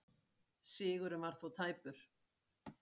Sigurinn var þó tæpur